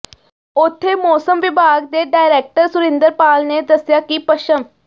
ਉਥੇ ਮੌਸਮ ਵਿਭਾਗ ਦੇ ਡਾਇਰੈਕਟਰ ਸੁਰਿੰਦਰਪਾਲ ਨੇ ਦੱਸਿਆ ਕਿ ਪੱਛਮ